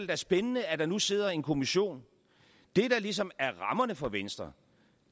da spændende at der nu sidder en kommission det der ligesom er rammerne for venstre